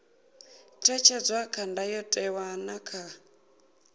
ṅetshedzwa kha ndayotewa na kha